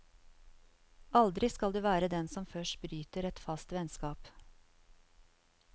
Aldri skal du være den som først bryter et fast vennskap.